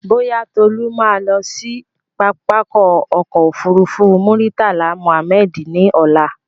Bóyá, Tolú ma lọ sí pápákọ̀ ọ̀kọ òfurufú Murtala Mohammed ní ọ̀la